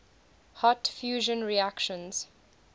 hot fusion reactions